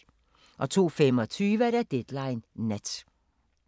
02:25: Deadline Nat